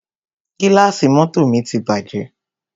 Gílàsì mọ́tọ̀ mi ti bàjẹ́.